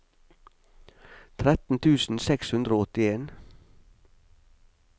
tretten tusen seks hundre og åttien